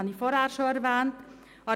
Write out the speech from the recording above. das habe ich vorhin schon erwähnt.